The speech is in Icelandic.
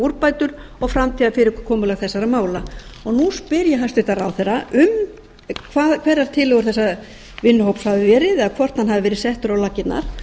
úrbætur og framtíðarfyrirkomulag þessara mála ég spyr hæstvirtur ráðherra hverjar tillögur vinnuhópsins hafi verið eða hvort hann hafi verið settur á laggirnar